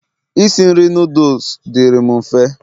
isi nri noodles dịri'm mfe